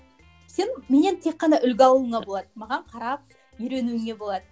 сен менен тек қана үлгі алуыңа болады маған қарап үйренуіңе болады